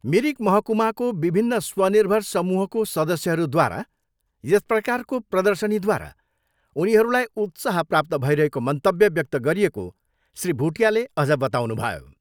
मिरिक महकुमाको विभिन्न स्वर्निभर समूहको सदस्यहरूद्वारा यस प्रकारको प्रर्दशनीद्वारा उनीहरूलाई उत्साह प्राप्त भइरहेको मन्तव्य व्यक्त गरिएको श्री भुटियाले अझ बताउनुभयो।